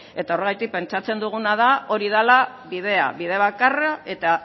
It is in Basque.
eta horregatik pentsatzen duguna da hori dela bidea bide bakarra eta